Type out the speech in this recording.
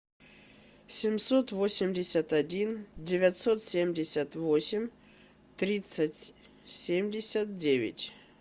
семьсот восемьдесят один девятьсот семьдесят восемь тридцать семьдесят девять